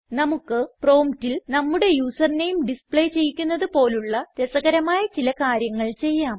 നമുക്ക് പ്രോംപ്റ്റിൽ നമ്മുടെ യൂസർ നെയിം ഡിസ്പ്ലേ ചെയ്യിക്കുന്നത് പോലുള്ള രസകരമായ ചില കാര്യങ്ങൾ ചെയ്യാം